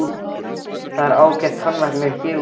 Það er ágætur tannlæknir hér úti á horni.